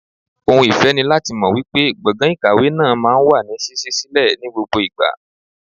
Ohun ìfẹ́ ni láti mọ wípé gbọ̀ngàn ìkàwé náà máa ń wà ní ṣíṣí sílẹ̀ ní gbogbo ìgbà.